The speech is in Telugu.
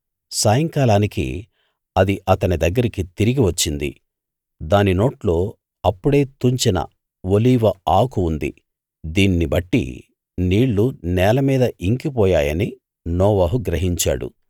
సాయంకాలానికి అది అతని దగ్గరికి తిరిగి వచ్చింది దాని నోట్లో అప్పుడే తుంచిన ఒలీవ ఆకు ఉంది దీన్ని బట్టి నీళ్ళు నేల మీద ఇంకి పోయాయని నోవహు గ్రహించాడు